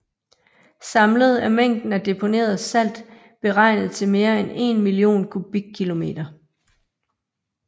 Samlet er mængden af deponeret salt beregnet til mere end 1 million kubikkilometer